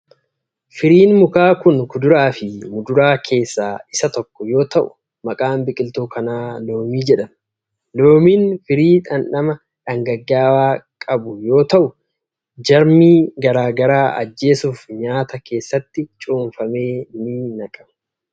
Firiin mukaa kun, kuduraa fi muduraa keessaa isa tokko yoo ta'u, maqaan biqiltuu kanaa loomii jedhama. Loomiin firii dhandhma dhangagga'aa ta'e kan qabu yoo ta'u, jarmii garaa garaa ajjeessuuf nyaata keessatti cuunfamee ni naqama.